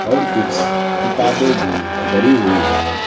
और कुछ किताबें भी धारी हुई हैं।